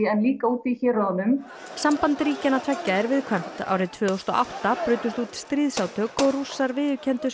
en líka úti í héruðunum samband ríkjanna tveggja er viðkvæmt árið tvö þúsund og átta brutust út stríðsátök og Rússar viðurkenndu